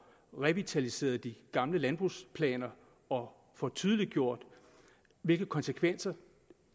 revitaliseret de gamle landbrugsplaner og får tydeliggjort hvilke konsekvenser